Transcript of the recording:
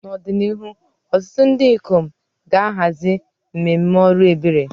N'ọdịnihu, ọtụtụ ndị ikom ga-ahazi mmemme ọrụ ebere.